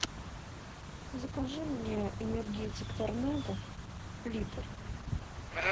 закажи мне энергетик торнадо литр